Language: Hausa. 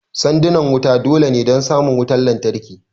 Sandunan wuta dole ne don samun wutan lantarki